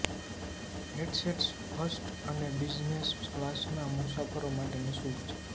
headsets first અને business ક્લાસના મુસાફરો માટે નિશુલ્ક છે